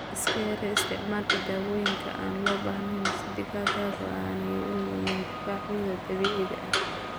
Iska yaree isticmaalka dawooyinka aan loo baahnayn si digaagadu aanay u lumin difaacooda dabiiciga ah.